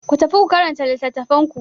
Ku tafi ku karanta littattafan ku.